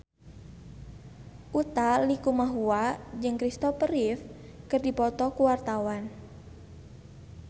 Utha Likumahua jeung Kristopher Reeve keur dipoto ku wartawan